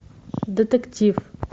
детектив